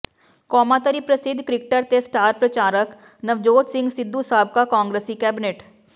ਕੌਮਾਂਤਰੀ ਪ੍ਰਸਿਧ ਕਿ੍ਰਕਟਰ ਤੇ ਸਟਾਰ ਪ੍ਰਚਾਰਕ ਨਵਜੋਤ ਸਿੰਘ ਸਿੱਧੂ ਸਾਬਕਾ ਕਾਂਗਰਸੀ ਕੈਬਨਿਟ